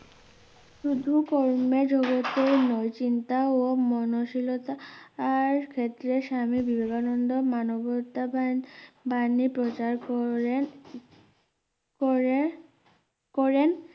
শুধু কন্যা জুরেতো মোচিন্তা ও মনোশীলতা আর ক্ষেত্রে স্বামী বিবেকানন্দ মানবতাবান বাণী প্রচার করে করে করেন